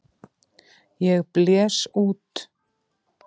Ég blés út.